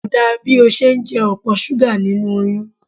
Kò dá bí o ṣe ń jẹ opo súgà nínú oyún.